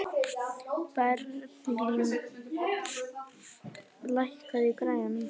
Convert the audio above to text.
Berglín, lækkaðu í græjunum.